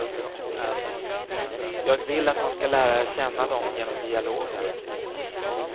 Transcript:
Jag vill att man ska lära känna dem genom dialogen.